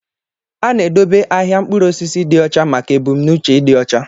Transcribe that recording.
A na-edobe ahịa mkpụrụ osisi dị ọcha maka ebumnuche ịdị ọcha